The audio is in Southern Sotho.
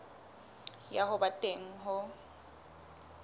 ya ho ba teng ho